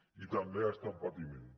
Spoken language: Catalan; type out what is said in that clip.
i també ha estat patiment